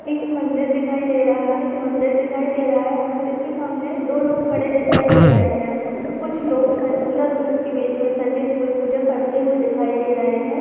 एक मंदिर दिखाई दे रहा है एक मंदिर दिखाई दे रहा है मंदिर के सामने दो लोग खड़े हुए दिखाई दे रहे है और कुछ लोग शायद दूल्हा दुल्हन के वेश मे सजे हुए पूजा करते हुए दिखाई दे रहे है।